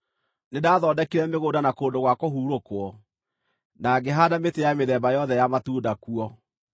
Nĩndathondekire mĩgũnda na kũndũ gwa kũhurũkwo, na ngĩhaanda mĩtĩ ya mĩthemba yothe ya matunda kuo.